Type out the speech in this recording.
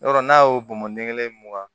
Yɔrɔ n'a y'o bɔn ɲɛgɛn kelen mun kan